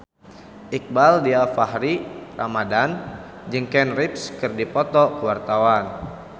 Iqbaal Dhiafakhri Ramadhan jeung Keanu Reeves keur dipoto ku wartawan